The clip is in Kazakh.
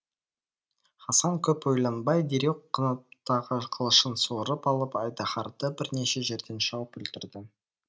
хасан көп ойланбай дереу қынаптағы қылышын суырып алып айдаһарды бірнеше жерден шауып өлтірді